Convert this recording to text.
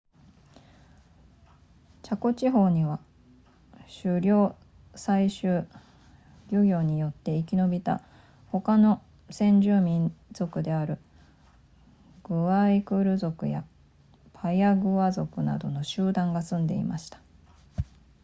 チャコ地方には狩猟採集漁業によって生き延びた他の先住民族であるグアイクル族やパヤグア族などの集団が住んでいました